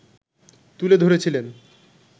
তুলে ধরেছিলেন